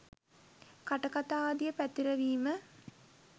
කටකතා ආදිය පැතිරවීම